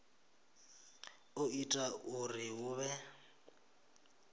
o ita uri hu vhe